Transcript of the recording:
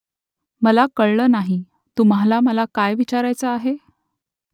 मला कळलं नाही . तुम्हाला मला काय विचारायचं आहे ?